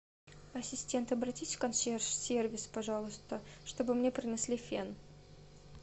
ассистент обратись в консьерж сервис пожалуйста чтобы мне принесли фен